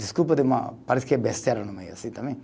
Desculpa, parece que é besteira no meio assim também.